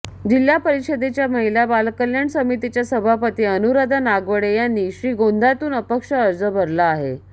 जिल्हा परिषदेच्या महिला बालकल्याण समितीच्या सभापती अनुराधा नागवडे यांनी श्रीगोंद्यातून अपक्ष अर्ज भरला आहे